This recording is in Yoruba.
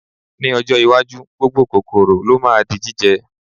Ní ọjọ́ iwájú, gbogbo kòkòrò ló ma di jíjẹ